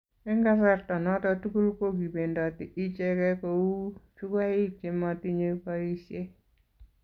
eng' kasarta noto tugul ko kibendoti icheke kou chukuyaik che matinyei boisie.